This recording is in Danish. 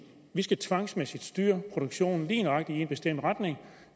vi skal tvangsmæssigt styre produktionen lige nøjagtig i en bestemt retning